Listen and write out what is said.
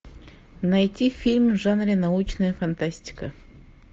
найти фильм в жанре научная фантастика